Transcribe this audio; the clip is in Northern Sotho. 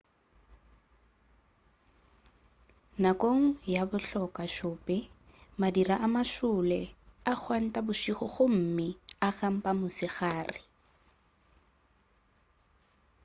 nakong ya bahloka-šope madira a mašole a gwanta bošego gomme a kampa mosegare